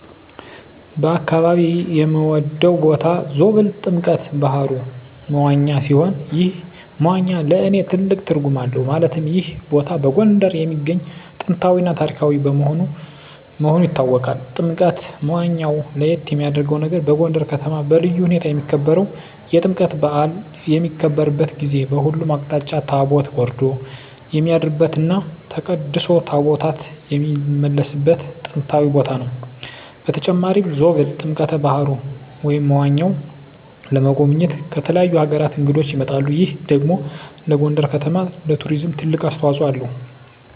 በአካባቢየ የምወደው ቦታ ዞብል ጥምቀተ ባህሩ (መዋኛ) ሲሆን ይህ መዋኛ ለእኔ ትልቅ ትርጉም አለው ማለትም ይህ ቦታ በጎንደር የሚገኝ ጥንታዊ እና ታሪካዊ መሆኑ ይታወቃል። ጥምቀተ መዋኛው ለየት የሚያረገው ነገር በጎንደር ከተማ በልዩ ሁኔታ የሚከበረው የጥምቀት በአል በሚከበርበት ጊዜ በሁሉም አቅጣጫ ታቦት ወርዶ የሚያድርበት እና ተቀድሶ ታቦታት የሚመለስበት ጥንታዊ ቦታ ነው። በተጨማሪም ዞብል ጥምቀተ በሀሩ (መዋኛው) ለመጎብኘት ከተለያዩ አገራት እንግዶች ይመጣሉ ይህ ደግሞ ለጎንደር ከተማ ለቱሪዝም ትልቅ አስተዋጽኦ አለው።